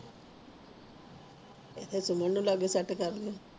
ਏਕੋ ਸੇਮੇਂਦ ਲਾਕੇ ਸੈੱਟ ਕਰਲੀ